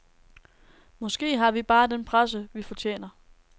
Måske har vi bare den presse, vi fortjener.